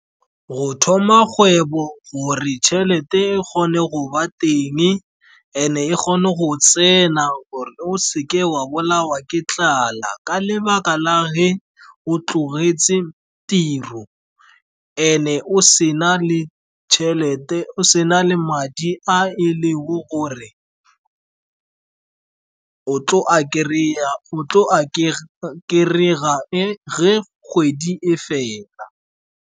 Go thoma kgwebo gore tšhelete e kgone go ba teng and-e kgone go tsena gore o seke wa bolawa ke tlala, ka lebaka la ge o tlogetse tiro and-e o sena le madi a e le go gore o tlo a kry-a ge kgwedi e fela.